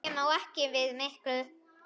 Ég má ekki við miklu.